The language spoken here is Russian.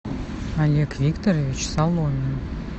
олег викторович соломин